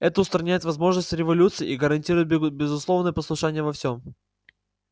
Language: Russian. это устраняет возможность революций и гарантирует безусловное послушание во всем